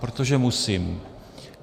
Protože musím.